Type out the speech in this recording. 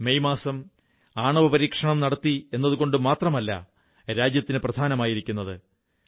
1998 May മാസം ആണവപരീക്ഷണം നടത്തിയെന്നതുകൊണ്ടു മാത്രമല്ല രാജ്യത്തിന് പ്രധാനമായിരിക്കുന്നത്